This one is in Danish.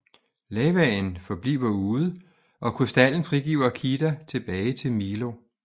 Lavaen forbliver ude og krystallen frigiver Kida tilbage til Milo